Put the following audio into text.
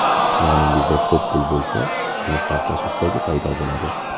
Yoningizda pul ko‘p bo‘lsa, uni sarflash istagi paydo bo‘ladi.